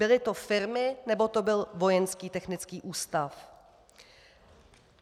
Byly to firmy, nebo to byl Vojenský technický ústav?